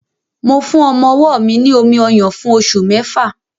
Mo fún ọmọ-ọwọ́ mi ní omi-ọyàn fún oṣù mẹ́fà